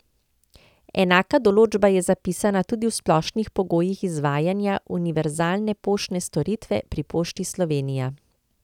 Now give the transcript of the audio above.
Enaka določba je zapisana tudi v splošnih pogojih izvajanja univerzalne poštne storitve pri Pošti Slovenija.